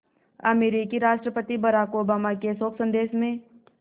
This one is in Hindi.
अमरीकी राष्ट्रपति बराक ओबामा के शोक संदेश में